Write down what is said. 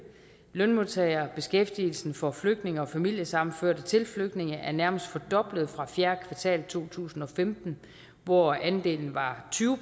lønmodtagere og beskæftigelsen for flygtninge og familiesammenførte til flygtninge er nærmest fordoblet fra fjerde kvartal to tusind og femten hvor andelen var tyve